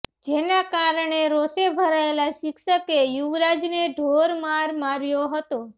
જેના કારણે રોષે ભરાયેલા શિક્ષકે યુવરાજને ઢોરમાર માર્યો હતો